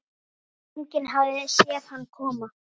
Enginn hafði séð hann koma.